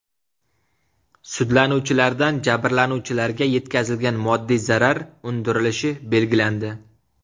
Sudlanuvchilardan jabrlanuvchilarga yetkazilgan moddiy zarar undirilishi belgilandi.